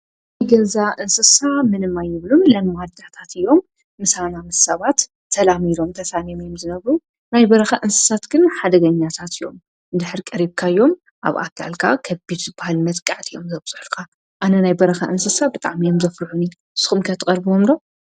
ገዛ እንስሳ ምንማ ኣይብሉን ለመዋድዳታት እዮም ።ምሳና ምስ ሳባት ተላሚዶም ተሳንም እዩም ዝነብሩ ናይ በረኸ እንስሳት ግን ሓደገኛታት እዮም። ድኅሪ ቀሪብካዮም ኣብ ኣካልካ ኸቢቱ በሃል መጽቃዕት እዮም ዘብጽልቃ ኣነ ናይ በረኸ እንስሳ ብጣም ዮም ዘፍርሑኒት ስኹምካያ ተቐርብ ወንዶ?